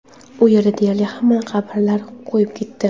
U yerda deyarli hamma qabrlar kuyib ketdi.